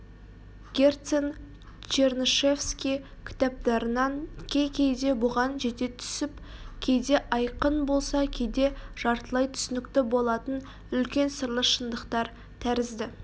герцен чернышевский кітаптарынан кей-кейде бұған жете түсіп кейде айқын болса кейде жартылай түсінікті болатын үлкен сырлы шындықтар тәрізді